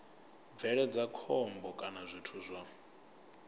bveledza khombo kana zwithu zwa